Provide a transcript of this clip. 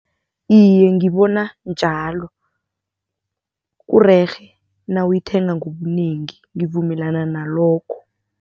Iye, ngibona njalo. Kurerhe nawuyithenga ngobunengi, ngivumelana nalokho.